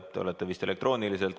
Te olete vist elektrooniliselt liinil.